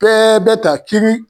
Bɛɛ bɛ ta kiiri